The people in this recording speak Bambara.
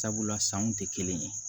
Sabula sanw tɛ kelen ye